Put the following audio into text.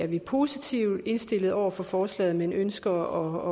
vi positivt indstillet over for forslaget men ønsker